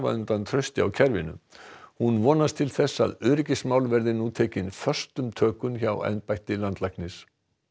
undan trausti á kerfinu hún vonast til að öryggismál verði nú tekin föstum tökum hjá embætti landlæknis